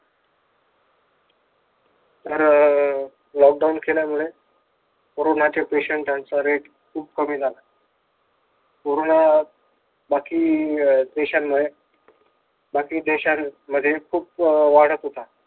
तर लॉकडाऊन केल्यामुळे कोरोनाचे पेशंट आणि त्यांचा रेट खूप कमी झाला कोरोना बाकी अह काही देशांमध्ये बाकी देशांमध्ये खूप वाढत होता.